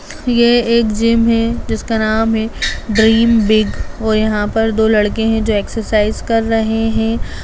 ये एक जिम है जिसका नाम है ड्रीम बिग और यहाँ पर दो लड़के है जो एक्सरसाइज कर रहे है।